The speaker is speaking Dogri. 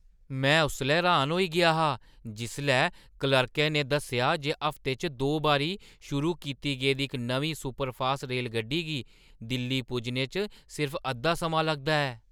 में उसलै हैरान होई गेआ हा जिसलै क्लर्कै ने दस्सेआ जे हफ्ते च दो बारी शुरू कीती गेदी इक नमीं सुपरफास्ट रेलगड्डी गी दिल्ली पुज्जने च सिर्फ अद्धा समां लगदा ऐ!